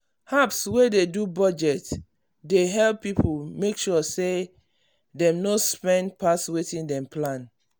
apps wey dey do budget dey help people make sure say dem no spend pass wetin dem plan.